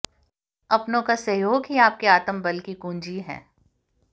अपनों का सहयोग ही आपके आत्मबल की कुंजी है